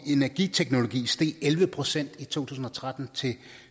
energiteknologi steg elleve procent i to tusind og tretten til